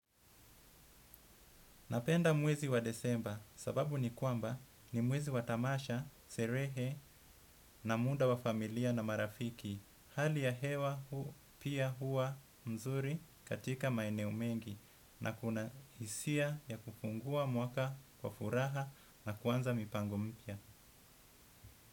Napenda mwezi wa disemba sababu ni kwamba ni mwezi wa tamasha, sherehe na muda wa familia na marafiki. Hali ya hewa pia huwa mzuri katika maeneo mengi na kuna hisia ya kufungua mwaka kwa furaha na kuanza mipango mipya.